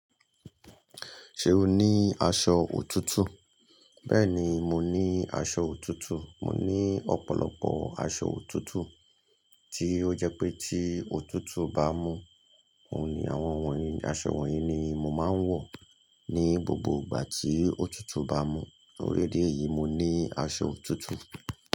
Ṣé o ní aṣọ òtútù? Bẹ́ẹ̀ni, mo ní aṣọ òtútù. Mo ní ọ̀pọ̀lọpọ̀ aṣọ òtútù tí ó jẹ́ pé tí òtútù bá mú, oun ni àwọn aṣọ wọ̀nyí ni mo máa ń wọ̀ ní gbogbo ìgbà tí òtútù bá mú. Tó rí idí èyí, mo ní aṣọ òtútù.